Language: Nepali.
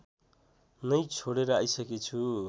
नै छोडेर आइसकेछु